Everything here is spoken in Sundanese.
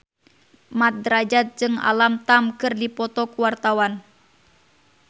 Mat Drajat jeung Alam Tam keur dipoto ku wartawan